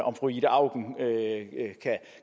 om fru ida auken